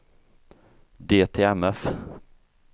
DTMF